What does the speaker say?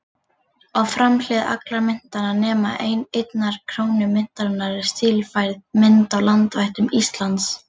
Á framhlið allra myntanna, nema einnar krónu myntarinnar, er stílfærð mynd af landvættum Íslands.